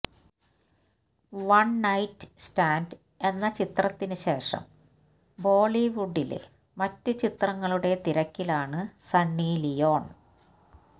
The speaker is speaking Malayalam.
വണ് നൈറ്റ് സ്റ്റാന്റ് എന്ന ചിത്രത്തിന് ശേഷം ബോളിവുഡിലെ മറ്റ് ചിത്രങ്ങളുടെ തിരക്കിലാണ് സണ്ണി ലിയോണ്